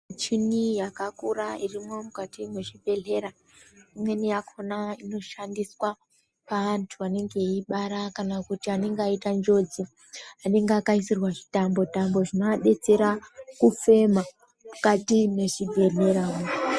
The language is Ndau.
Michini yakakura irimukati mechibhedhlera, imweni yakhona ino shandiswa kupa antu anenge eibara kana kuti anenge aita njodzi, Anonge akaisirwa zvitambo-tambo, zvinoadetsera kufema mukati me chibhedhlera mo.